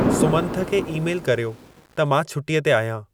सुमंथ खे ई-मेलु कर्यो त मां छुटीअ ते आहियां